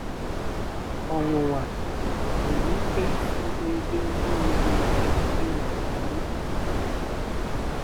Ọnwụnwa nwere ike isi n'ebe ndị nwere ike ịnwale anyị nke ukwuu.